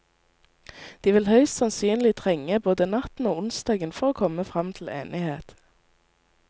De vil høyst sannsynlig trenge både natten og onsdagen for å komme fram til enighet.